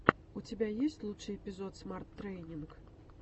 у тебя есть лучший эпизод смарт трэйнинг